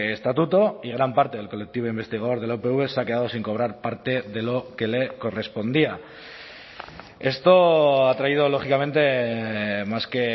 estatuto y gran parte del colectivo investigador de la upv se ha quedado sin cobrar parte de lo que le correspondía esto ha traído lógicamente más que